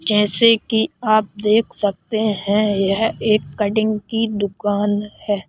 जैसे कि आप देख सकते हैं यह एक कटिंग की दुकान है।